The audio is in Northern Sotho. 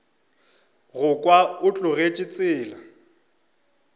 go kwa o tlogetše tsela